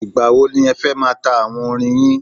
Ìgbà wo ni ẹ fẹ́ máa ta àwo orin yín?